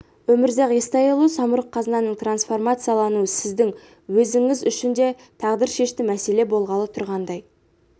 өмірзақ естайұлы самұрық-қазынаның трансформациялануы сіздің өзіңіз үшін де тағдыршешті мәселе болғалы тұрғандай